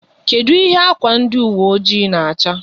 Kedụ ihe ákwà ndi uwe oji na-acha?